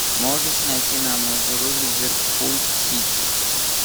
можешь найти нам игру ливерпуль сити